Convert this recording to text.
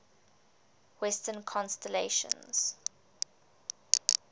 western constellations